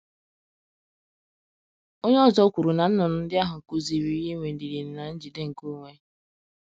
Onye ọzọ kwuru na nnụnụ ndị ahụ kụziiri ya inwe ndidi na njide nke onwe.